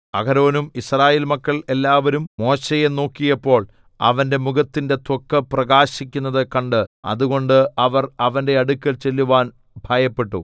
അഹരോനും യിസ്രായേൽ മക്കൾ എല്ലാവരും മോശെയെ നോക്കിയപ്പോൾ അവന്റെ മുഖത്തിന്റെ ത്വക്ക് പ്രകാശിക്കുന്നത് കണ്ടു അതുകൊണ്ട് അവർ അവന്റെ അടുക്കൽ ചെല്ലുവാൻ ഭയപ്പെട്ടു